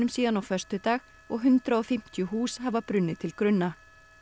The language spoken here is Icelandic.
síðan á föstudag og hundrað og fimmtíu hús hafa brunnið til grunna